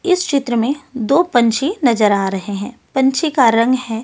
इस चित्र में दो पंछी नजर आ रहे हैं पंछी का रंग है--